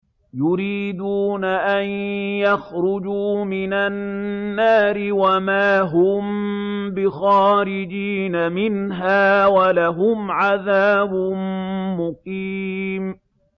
يُرِيدُونَ أَن يَخْرُجُوا مِنَ النَّارِ وَمَا هُم بِخَارِجِينَ مِنْهَا ۖ وَلَهُمْ عَذَابٌ مُّقِيمٌ